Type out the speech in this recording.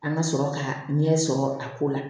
An ka sɔrɔ ka ɲɛ sɔrɔ a ko la